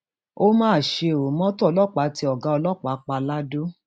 ó ó mà ṣe ó mọtò ọlọpàá tẹ ọgá ọlọpàá pa ladọ